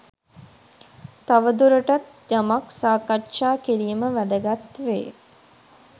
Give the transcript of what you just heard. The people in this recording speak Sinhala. තවදුරටත් යමක් සාකච්ඡා කිරීම වැදගත් වේ.